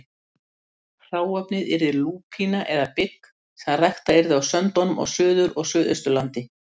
Hráefnið yrði lúpína eða bygg sem ræktað yrði á söndunum á Suður- og Suðausturlandi.